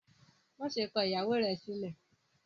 Maṣe kọ ìyàwó rẹ sílẹ!